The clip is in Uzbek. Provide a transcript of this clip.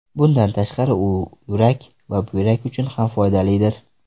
Bundan tashqari, u yurak va buyrak uchun ham foydalidir.